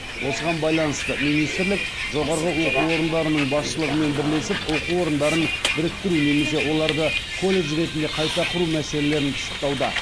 осыған байланысты министрлік жоғары оқу орындарының басшылығымен бірлесіп оқу орындарын біріктіру немесе оларды колледж ретінде қайта құру мәселелерін пысықтауда